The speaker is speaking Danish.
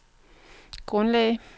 grundlag